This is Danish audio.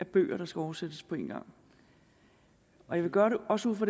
bøger der skal oversættes på én gang og jeg vil gøre det også ud fra